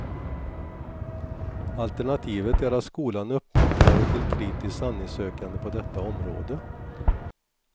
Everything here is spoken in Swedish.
Alternativet är att skolan uppmuntrar till kritiskt sanningssökande på detta område.